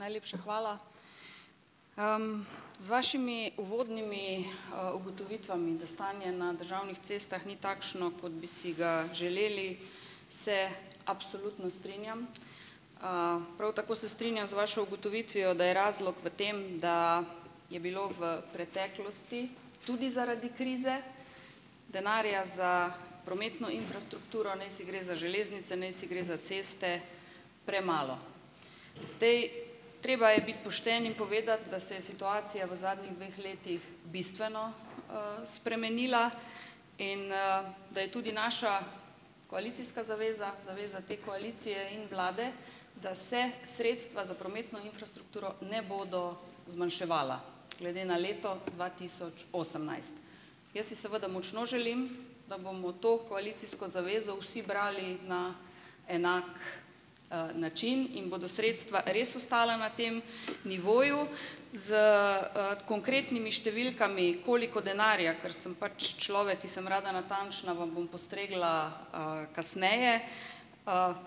Najlepša hvala. Z vašimi uvodnimi ugotovitvami, da stanje na državnih cestah ni takšno, kot bi si ga želeli, se absolutno strinjam. Prav tako se strinjam z vašo ugotovitvijo, da je razlog v tem, da je bilo v preteklosti tudi zaradi krize denarja za prometno infrastrukturo, najsi gre za železnice, najsi gre za ceste, premalo. Zdaj treba je biti pošten in povedati, da se je situacija v zadnjih dveh letih bistveno spremenila in da je tudi naša koalicijska zaveza, zaveza te koalicije in vlade, da se sredstva za prometno infrastrukturo ne bodo zmanjševala glede na leto dva tisoč osemnajst. Jaz si seveda močno želim, da bomo to koalicijsko zavezo vsi brali na enak način in bodo sredstva res ostala na tem nivoju s konkretnimi številkami. Koliko denarja, ker sem pač človek, ki sem rada natančna, vam bom postregla kasneje.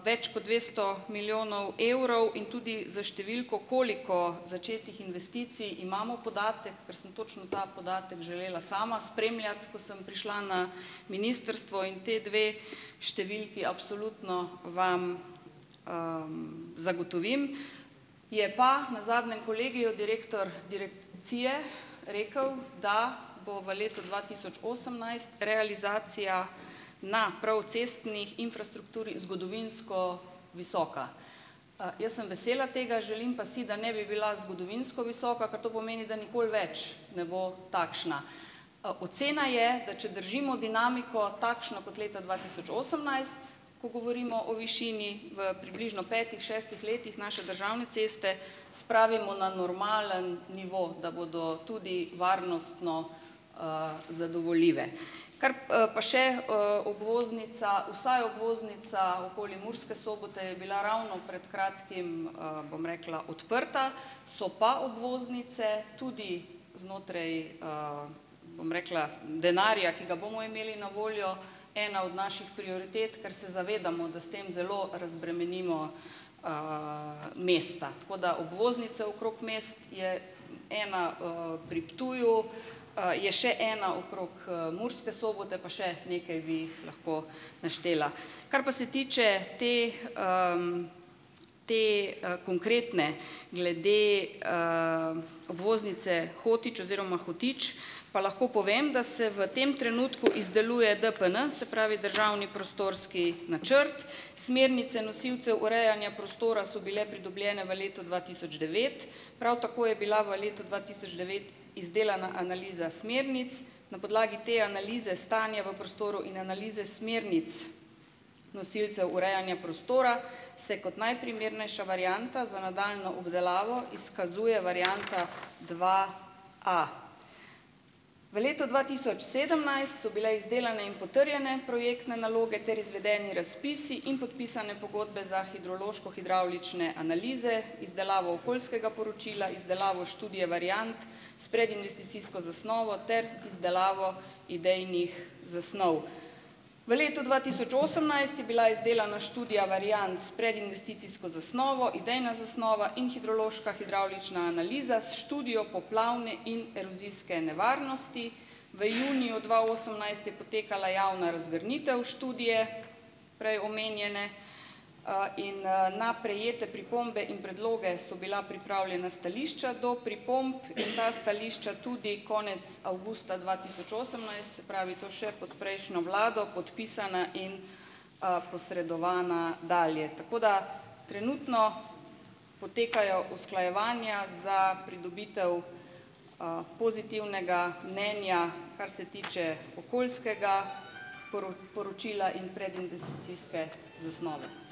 Več kot dvesto milijonov evrov in tudi s številko, koliko začetih investicij imamo, podatek, ker sem točno ta podatek želela sama spremljati, ko sem prišla na ministrstvo, in ti dve številki absolutno vam zagotovim. Je pa na zadnjem kolegiju direktor direkcije rekel, da bo v letu dva tisoč osemnajst realizacija na prav cestni infrastrukturi zgodovinsko visoka. Jaz sem vesela tega, želim pa si, da ne bi bila zgodovinsko visoka, ker to pomeni, da nikoli več ne bo takšna. Ocena je, da če držimo dinamiko takšno kot leta dva tisoč osemnajst, ko govorimo o višini, v približno petih, šestih letih naše državne ceste spravimo na normalen nivo, da bodo tudi varnostno zadovoljive. Kar. Pa še obvoznica, vsaj obvoznica okoli Murske Sobote je bila ravno pred kratkim, bom rekla, odprta, so pa obvoznice tudi znotraj, bom rekla, denarja, ki ga bomo imeli na voljo, ena od naših prioritet, ker se zavedamo, da s tem zelo razbremenimo mesta. Tako da obvoznice okrog mest je ena pri Ptuju, je še ena okrog Murske Sobote, pa še nekaj bi jih lahko naštela. Kar pa se tiče te te konkretne, glede obvoznice Hotič oziroma Hotič, pa lahko povem, da se v tem trenutku izdeluje DPN, se pravi državni prostorski načrt. Smernice nosilcev urejanja prostora so bile pridobljene v letu dva tisoč devet, prav tako je bila v letu dva tisoč devet izdelana analiza smernic. Na podlagi te analize stanje v prostoru in analize smernic nosilcev urejanja prostora, se kot najprimernejša varianta za nadaljnjo obdelavo izkazuje varianta dva a. V letu dva tisoč sedemnajst so bile izdelane in potrjene projektne naloge ter izvedeni razpisi in podpisane pogodbe za hidrološko hidravlične analize, izdelavo okoljskega poročila, izdelavo študije variant, s predinvesticijsko zasnovo ter izdelavo idejnih zasnov. V letu dva tisoč osemnajst je bila izdelana študija varianc s predinvesticijsko zasnovo, idejna zasnova in hidrološka hidravlična analiza s študijo poplavne in erozijske nevarnosti. V juniju dva osemnajst je potekala javna razgrnitev študije prej omenjene in na prejete pripombe in predloge so bila pripravljena stališča do pripomb in ta stališča tudi konec avgusta dva tisoč osemnajst, se pravi to še pod prejšnjo vlado, podpisana in posredovana dalje, tako da trenutno potekajo usklajevanja za pridobitev pozitivnega mnenja, kar se tiče okoljskega poročila in predinvesticijske zasnove.